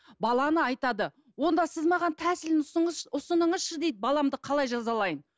баланы айтады онда сіз маған тәсілін ұсыныңызшы дейді баламды қалай жазалайын